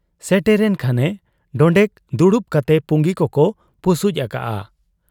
ᱥᱮᱴᱮᱨᱮᱱ ᱠᱷᱟᱱᱮ ᱰᱚᱸᱰᱮᱠ ᱫᱩᱲᱩᱵ ᱠᱟᱛᱮ ᱯᱩᱸᱜᱤ ᱠᱚᱠᱚ ᱯᱩᱥᱩᱡ ᱟᱠᱟᱜ ᱟ ᱾